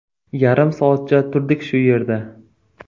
Yarim soatcha turdik shu yerda.